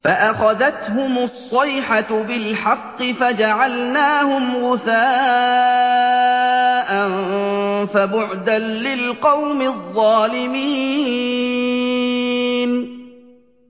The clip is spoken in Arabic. فَأَخَذَتْهُمُ الصَّيْحَةُ بِالْحَقِّ فَجَعَلْنَاهُمْ غُثَاءً ۚ فَبُعْدًا لِّلْقَوْمِ الظَّالِمِينَ